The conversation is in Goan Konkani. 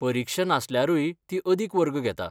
परीक्षा नासल्यारूय ती अदिक वर्ग घेता.